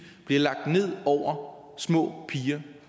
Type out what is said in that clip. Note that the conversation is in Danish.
bliver lagt ned over små piger